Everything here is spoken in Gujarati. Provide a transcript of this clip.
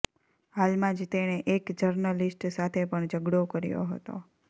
હાલમાં જ તેણે એક જર્નલિસ્ટ સાથે પણ ઝઘડો કર્યો હતો